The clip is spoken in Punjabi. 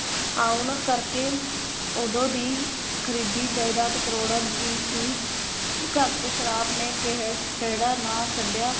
ਆਉਣ ਕਰਕੇ ਓਦੋਂ ਦੀ ਖਰੀਦੀ ਜਾਇਦਾਦ ਕਰੋੜਾਂ ਦੀ ਸੀ ਘਰ ਚ ਸ਼ਾਰਾਬ ਨੇ ਕਹਿਰ ਖਹਿੜਾ ਨਾ ਛੱਡਿਆ।